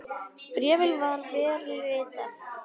Bréfið var vel ritað.